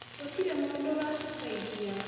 Gutirĩ mũndũ uratũteithia